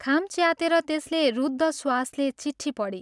खाम च्यातेर त्यसले रुद्ध श्वासले चिट्ठी पढी